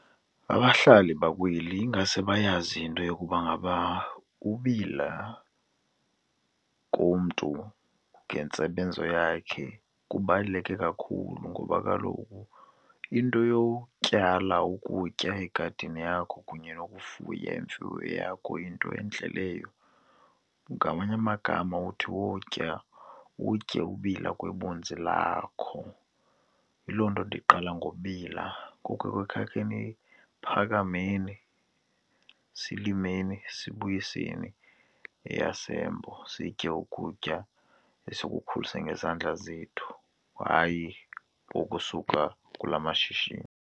Abahlali bakweli ingase bayazi into yokuba ngaba ubila komntu ngentsebenzo yakhe kubaluleke kakhulu ngoba kaloku into yokutyala ukutya egadini yakho kunye nokufuya imfuyo yakho yinto entle leyo. Ngamanye amagama uthi utya, utye ubila kwebuninzi lakho. Yiloo nto ndiqala ngobila ngoku phakameni, silimeni, sibuyiseni eyaseMbo sitye ukutya esikukhulise ngezandla zethu, hayi okusuka kula mashishini.